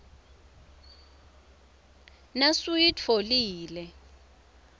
nasuyitfolile